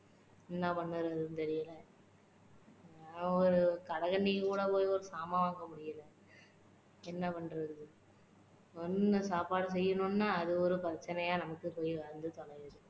என்ன பண்ணுறதுன்னு தெரியல ஒரு கடைகன்னிக்கு கூட போய் ஒரு சாமான் வாங்க முடியல என்ன பண்றது. ஒண்ணும் சாப்பாடு செய்யணும்னா அது ஒரு பிரச்சனையா நமக்கு இப்படி வந்து தொலையுது